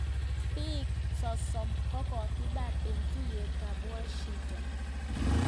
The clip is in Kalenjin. pik 30 kokokipar eng tuyet ap washiairaq